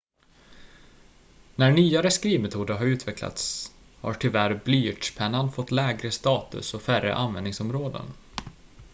när nyare skrivmetoder har utvecklats har tyvärr blyertspennan fått lägre status och färre användningsområden